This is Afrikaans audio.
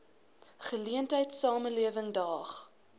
geleentheid samelewing daag